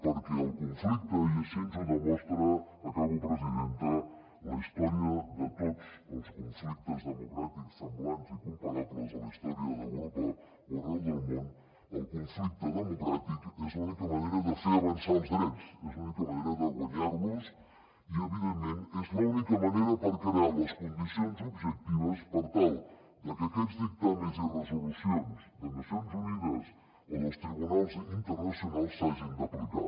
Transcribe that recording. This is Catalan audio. perquè el conflicte i així ens ho demostra acabo presidenta la història de tots els conflictes democràtics semblants i comparables a la història d’europa o arreu del món el conflicte democràtic és l’única manera de fer avançar els drets és l’única manera de guanyar los i evidentment és l’única manera per crear les condicions objectives per tal de que aquests dictàmens i resolucions de nacions unides o dels tribunals internacionals s’hagin d’aplicar